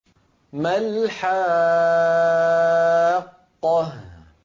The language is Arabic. مَا الْحَاقَّةُ